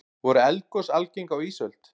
voru eldgos algeng á ísöld